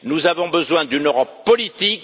Nous avons besoin d'une Europe politique.